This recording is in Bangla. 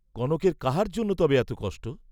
কনকের কাহার জন্য তবে এত কষ্ট?